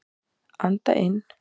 Anda inn.